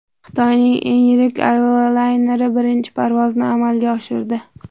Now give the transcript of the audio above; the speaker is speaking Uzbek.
Xitoyning eng yirik avialayneri birinchi parvozni amalga oshirdi.